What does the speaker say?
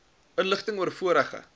inligting oor vorige